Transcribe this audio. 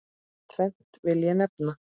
Tvennt vil ég nefna.